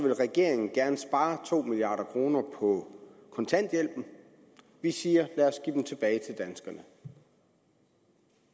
vil regeringen gerne spare to milliard kroner på kontanthjælpen vi siger lad os give dem tilbage til danskerne